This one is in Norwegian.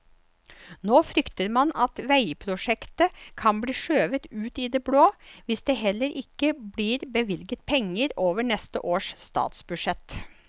Nå frykter man at veiprosjektet kan bli skjøvet ut i det blå, hvis det heller ikke blir bevilget penger over neste års statsbudsjett.